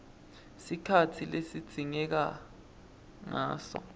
sikhatsi lesidzingeka ngaso